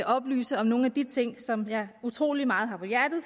oplyse om nogle af de ting som jeg har utrolig meget